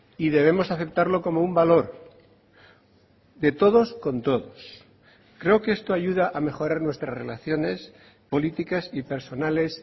y debemos aceptarlo como un valor de todos con todos creo que esto ayuda a mejorar nuestras relaciones políticas y personales